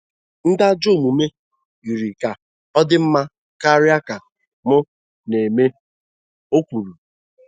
‘ Ndị ajọ omume yiri ka ọ dị mma karịa ka m na-eme, ’ o kwuru.